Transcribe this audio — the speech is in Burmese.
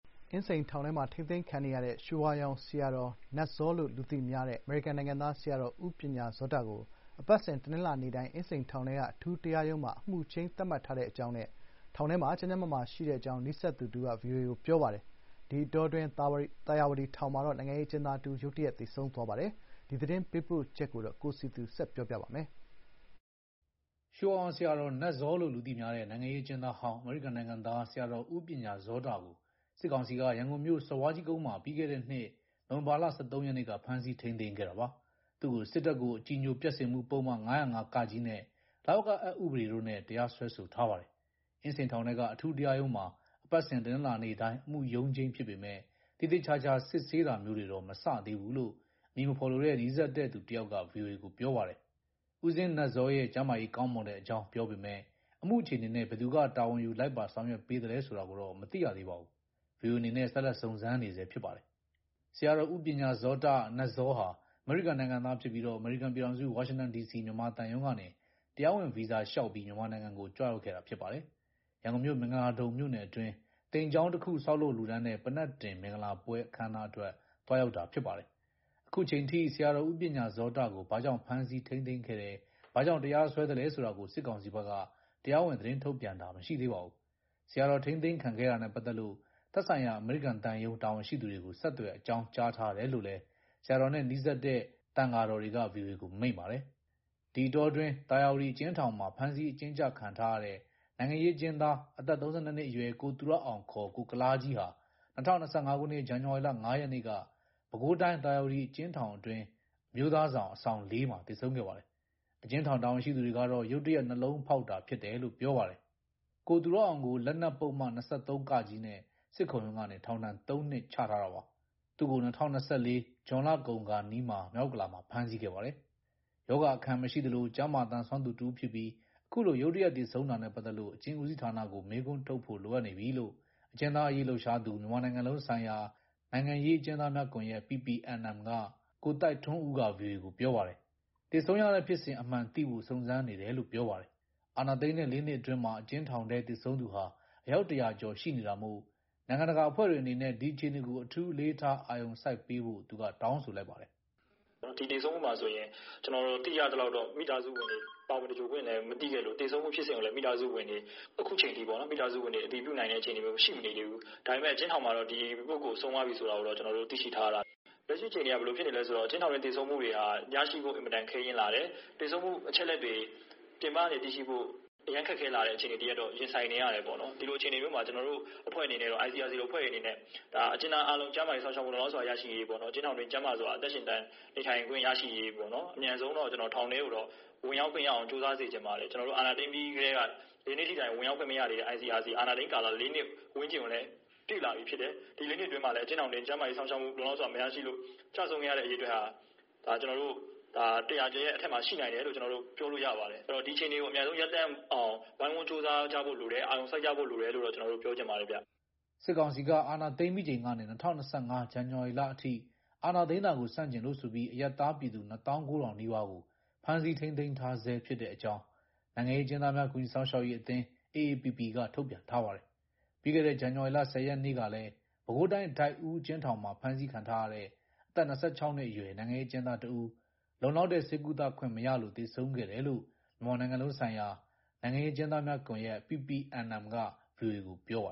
အင်းစိန်ထောင်မှာ ထိန်းသိမ်းခံနေရတဲ့ ရွှေဝါရောင်ဆရာတော် နတ်ဇောလို့လူသိများတဲ့ အမေရိကန်နိုင်ငံသား ဆရာတော် ဦးပညာဇောတကို အပတ်စဉ် တနင်္လာနေ့တိုင်း အင်းစိန်ထောင်ထဲက အထူးတရားရုံးမှာ အမှုချိန်း သတ်မှတ်ထားတဲ့အကြောင်းနဲ့ ထောင်ထဲမှာ ကျန်းကျန်းမာမာ ရှိတဲ့အကြောင်း နီးစပ်တဲ့သူတဦးက VOA ကို ပြောပါတယ်။ ဒီအတောအတွင်း သာယာဝတီထောင်မှာတော့ နိုင်ငံရေးအကျဉ်းသား တဦး ရုတ်တရက်သေဆုံးသွားပါတယ်။ ရန်ကုန်က သတင်းပေးပို့ထားတာကို တင်ပြပါ့မယ်။ ရွှေဝါရောင်ဆရာတော် နတ်ဇောလို့လူသိများတဲ့ နိုင်ငံရေးအကျဉ်းသားဟောင်း အမေရိကန်နိုင်ငံသား ဆရာတော် ဦးပညာဇောတကို စစ်ကောင်စီက ရန်ကုန်မြို့ စော်ဘွားကြီးကုန်းမှာ ပြီးခဲ့တဲ့နှစ် နိုဝင်ဘာလ ၁၃ ရက်နေ့က ဖမ်းဆီးထိန်းသိမ်းခဲ့တာပါ။ သူ့ကို စစ်တပ်ကို အကြည်ညိုပျက်စေမှု ပုဒ်မ ၅၀၅-ကနဲ့ လဝကအက် ဥပဒေ တို့နဲ့ တရားစွဲဆိုထားပါတယ်။ အင်းစိန်ထောင်ထဲက အထူးတရားရုံးမှာ အပတ်စဉ်တနင်္လာနေ့တိုင်း အမှုရုံးချိန်းဖြစ်ပေမယ့် သေသေချာချာ စစ်ဆေးတာမျိုးတွေတော့ မစသေးဘူးလို့ အမည်မဖေါ်လိုတဲ့ နီးစပ်တဲ့ သူတယောက်က VOA ကို ပြောပါတယ်။ ဦးဇင်းနတ်ဇောရဲ့ကျန်းမာရေး ကောင်းမွန်တဲ့အကြောင်း ပြောပေမဲ့ အမှုအခြေအနေနဲ့ ဘယ်သူက တာဝန်ယူ လိုက်ပါ ဆောင်ရွက်ပေးသလဲ ဆိုတာကိုတော့ မသိရသေးပါဘူး။ ဗွီအိုအေအနေနဲ့ဆက်လက်စုံစမ်းနေဆဲဖြစ်ပါတယ်။ ဆရာတော် ဦးပညာဇောတ ဟာ အမေရိကန်နိုင်ငံသား ဖြစ်ပြီး အမေရိကန်ပြည်ထောင်စု ဝါရှင်တန်ဒီစီ မြန်မာသံရုံးကနေ တရားဝင် ဗီဇာလျှောက်ထားပြီး မြန်မာနိုင်ငံကိုကြွရောက်ခဲ့တာဖြစ်ပါတယ်။ ရန်ကုန်မြို့ မင်္ဂလာဒုံမြို့နယ်အတွင်း သိမ်ကျောင်းတော်တခု ဆောက်လုပ်လှူဒါန်းတဲ့ ပန္နက်တင်မင်္ဂလာပွဲအခမ်းအနားအတွက် သွားရောက်တာဖြစ်ပါတယ်။ အခုအချိန်အထိ ဆရာတော်ဦးပညာဇောတကို ဘာကြောင့်ဖမ်းဆီးထိန်းသိမ်းခဲ့တယ်။ ဘာကြောင့် တရားစွဲသလဲဆိုတာကို စစ်ကောင်စီ ဘက်က တရားဝင် သတင်းထုတ်ပြန်တာမရှိသေးပါဘူး။ ဆရာတော် ထိန်းသိမ်းခံခဲ့ရတာနဲ့ပတ်သက်လို့ သက်ဆိုင်ရာ အမေရိကန်သံရုံး တာဝန်ရှိသူတွေကို ဆက်သွယ်အကြောင်းကြားထားတယ်လို့လည်း ဆရာတော်နဲ့နီးစပ်တဲ့သံဃာတော်တွေက ဗွီအိုအေကိုမိန့်ပါတယ်။ ဒီအတောအတွင်း သာယာဝတီအကျဉ်းထောင်မှာ ဖမ်းဆီးအကျဉ်းချခံထားရတဲ့ နိုင်ငံရေးအကျဉ်းသားအသက် နှစ်အရွယ် ကိုသူရအောင် ကိုကုလားကြီးဟာ ၂၀၂၅ ခုနှစ် ဇန်နဝါရီလ နေ့က ပဲခူးတိုင်း သာယာဝတီအကျဉ်းထောင်တွင်း အမျိုးသားဆောင် အဆောင် မှာ သေဆုံးခဲ့ပါတယ်။ အကျဉ်းထောင် တာဝန်ရှိသူတွေကတော့ ရုတ်တရက် နှလုံးဖောက်တာဖြစ် တယ်လို့ ပြောပါတယ်။ ကိုသူရအောင်ကို လက်နက်ပုဒ်မ ၂၃ နဲ့ စစ်ခုံရုံးကနေ ထောင်ဒဏ် နှစ်ထားတာပါ။ သူ့ကို ၂၀၂၄ ဇွန်လကုန်ခါနီးပိုင်းမှာ မြောက်ဥက္ကလာပမှာ ဖမ်းဆီးခဲ့ပါတယ်။ ရောဂါအခံမရှိသလို ကျန်းမာသန် စွမ်းသူတဦး အခုလို ရုတ်တရက်သေဆုံးတာနဲ့ပတ်သတ်လို့ အကျဉ်းဦးစီးဌာနကိုမေးခွန်းထုတ်ဖို့လိုအပ်နေပြီလို့ အကျဉ်းသားအရေးလှုပ်ရှားသူ မြန်မာနိုင်ငံလုံးဆိုင်ရာ နိုင်ငံရေးအကျဉ်းသားများကွန်ရက် က ကိုသိုက်ထွန်းဦးက VOA ကို ပြောပါတယ်။ သေဆုံးရတဲ့ဖြစ်စဉ်အမှန်သိဖို့ စုံစမ်းနေတယ်လို့ ပြောပါတယ်။ အာဏာသိမ်းတဲ့ ၄နှစ်အတွင်းမှာ အကျဉ်းထောင်ထဲ သေဆုံးသူဟာ အယောက် ၁၀၀ ကျော်ရှိနေတာမို့ နိုင်ငံတကာအဖွဲ့တွေအနေနဲ့ဒီအခြေအနေကိုအထူးအလေးထားအာရုံစိုက်ပေးဖို့သူက တောင်းဆိုလိုက်ပါတယ်။ "ဒီသေဆုံးမှုမှာဆိုရင် ကျနော်သိရသလောက်တော့မိသားစုတွေလည်း ပါဝင်သဂြိုလ်ခွင့်လဲမရှိသလို သေဆုံးမှုဖြစ်စဉ်ကိုလည်းမိသားစုတွေ အတည်ပြုပေးနိုင်ခြင်းအခုချိန်ထိမရှိသေးဘူး။ ဒါပေမယ့်အကျဉ်းထောင်မှာတော့ဒီအကိုဆုံးသွားပြီဆိုတာကိုတော့သိရှိထားရတယ်။ လက်ရှိ အချိန်မှာဘယ်လိုဖြစ်နေလဲဆိုတော့အကျဉ်းထောင်တွင်းသေဆုံးမှုတွေက ရရှိဖို့အင်မတန်ခဲယဉ်းလာတယ်။ သေဆုံးမှုအချက်အလက်တွေ ပြင်ပကနေသိဖို့အရမ်းခက်ခဲလာခဲ့တယ်။ အဲအခြေအနေတရပ်တော့ရင်ဆိုင်နေရတယ်။ ဒီလိုအခြေအနေမျိုးမှာ ICRC အဖွဲ့အနေနဲ့ အကျဉ်းသားအားလုံးကျန်းမာရေးစောင့်ရှောက်မှုရရှိရေး၊ အကျဉ်းထောင်တွင်းအသက်ရှင်နေထိုင်ခွင့် ရရှိရေး အမြန်ဆုံးတော့ထောင်ထဲကိုဝင် တွေ့ခွင့်ရအောင်ကြိုးစားစေချင်ပါတယ်။ အာဏာသိမ်းပြီးထဲက ဒီနေ့ထက်တိုင် ICRC အဖွဲ့အနေနဲ့ ဝင်ရောက်ခွင့်မရဘူး။ အာဏာသိမ်း တာ ၄နှစ်တာကာလရောက်နေပြီ ဒီ ၄နှစ်အတွင်းကျန်းမာရေးစောင့်ရှောက်မှုမရလို့ကျခဲ့တဲ့အရေအတွက်ဟာအယောက် ၁၀၀အထက်မှာ ရှိနိုင်တယ်လို့ပြောနိုင်ပါတယ်။ ဒီအခြေအနေကို ဝိုင်းဝန်းကြိုးစားအဖြေရှာဖို့လိုတယ်။ အာရုံစိုက်ကြဖို့လိုနေတယ်လို့ကျနော်ပြောချင်ပါ တယ်ခင်ဗျ။" စစ်ကောင်စီက အာဏာသိမ်းပြီးချိန်ကနေ ၂၀၂၅ ဇန်နဝါရီလ အထိအာဏာသိမ်းတာကိုဆန့်ကျင်လို့ဆိုပြီးအရပ်သား ပြည်သူ ၂၉၀၀၀ နီးပါးကို ဖမ်းဆီး ထိန်းသိမ်းထားဆဲ ဖြစ်တဲ့အကြောင်း နိုင်ငံရေးအကျဉ်းသားများ ကူညီစောင့်ရှောက်ရေးအသင်း က ထုတ်ပြန်ထားပါတယ်။ ပြီးခဲ့တဲ့ ဇန်နဝါရီလ ၁၀ ရက်နေ့ကလည်း ပဲခူးတိုင်း၊ ဒိုက်ဦး အကျဉ်းထောင်မှာ ဖမ်းဆီးခံထားရတဲ့ အသက် ၂၆ နှစ်အရွယ် နိုင်ငံရေးအကျဉ်းသား တဦး လုံလောက်တဲ့ ဆေးကုသခွင့်မရလို့ သေဆုံးခဲ့တယ်လို့ မြန်မာ နိုင်ငံလုံး ဆိုင်ရာ နိုင်ငံရေးအကျဉ်းသားများကွန်ရက် က VOA ကို ပြောပါ